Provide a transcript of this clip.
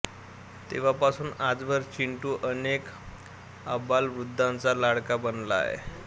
तेव्हापासून आजवर चिंटू अनेक आबालवृद्धांचा लाडका बनला आहे